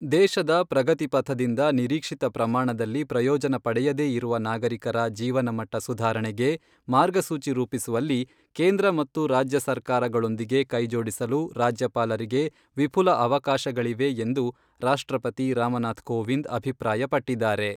ದೇಶದ ಪ್ರಗತಿ ಪಥದಿಂದ ನಿರೀಕ್ಷಿತ ಪ್ರಮಾಣದಲ್ಲಿ ಪ್ರಯೋಜನ ಪಡೆಯದೇ ಇರುವ ನಾಗರಿಕರ ಜೀವನ ಮಟ್ಟ ಸುಧಾರಣೆಗೆ ಮಾರ್ಗಸೂಚಿ ರೂಪಿಸುವಲ್ಲಿ ಕೇಂದ್ರ ಮತ್ತು ರಾಜ್ಯಸರ್ಕಾರಗಳೊಂದಿಗೆ ಕೈಜೋಡಿಸಲು ರಾಜ್ಯಪಾಲರಿಗೆ ವಿಫುಲ ಅವಕಾಶಗಳಿವೆ ಎಂದು ರಾಷ್ಟ್ರಪತಿ ರಾಮನಾಥ್ ಕೋವಿಂದ್ ಅಭಿಪ್ರಾಯ ಪಟ್ಟಿದ್ದಾರೆ.